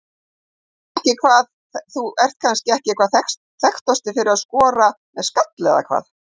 Þú ert kannski ekki hvað þekktastur fyrir að skora með skalla eða hvað?